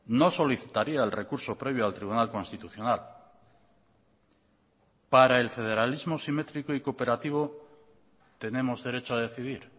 no solicitaría el recurso previo al tribunal constitucional para el federalismo simétrico y cooperativo tenemos derecho a decidir